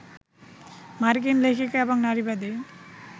মার্কিন লেখিকা এবং নারীবাদী